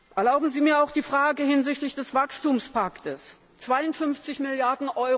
Erlauben Sie mir auch die Frage hinsichtlich des Wachstumspakts 52 Mrd.